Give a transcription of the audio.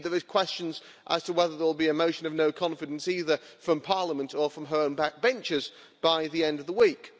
Indeed, there are questions as to whether there will be a motion of no confidence, either from parliament or from her own backbenchers by the end of the week.